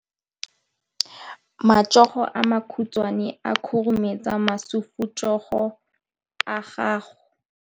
Matsogo a makhutshwane a khurumetsa masufutsogo a gago.